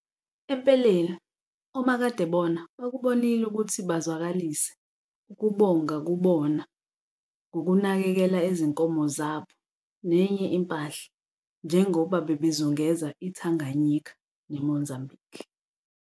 Empeleni, omakadebona bakubonile ukuthi bazwakalise ukubonga kubona ngokunakekela izinkomo zabo nenye impahla njengoba bebezungeza iTanganyika neMozambique.